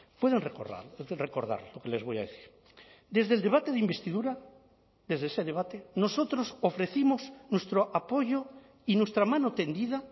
pueden recordar recordar lo que les voy a decir desde el debate de investidura desde ese debate nosotros ofrecimos nuestro apoyo y nuestra mano tendida